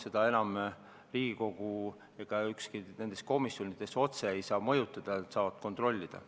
Seda enam Riigikogu ega ükski komisjon ei saa otse mõjutada, nad saavad seda kontrollida.